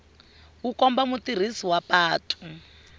wu komba mutirhisi wa patu